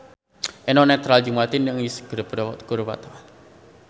Eno Netral jeung Martina Hingis keur dipoto ku wartawan